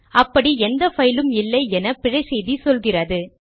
அப்படி எந்த பைலும் இல்லை என பிழை செய்தி சொல்லுகிறது